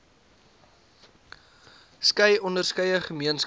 skei onderskeie gemeenskappe